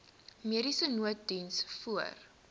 mediese nooddiens voor